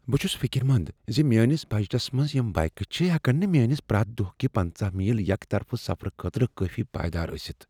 بہٕ چھس فکر مند ز میٲنس بجٹس منٛز یم بائیکہٕ چھ ہیکن نہٕ میانہ پریتھ دۄہ کہ پنژہَ میل یکہٕ طرفہٕ سفرٕ خٲطرٕ کٲفی پائیدار ٲستھ۔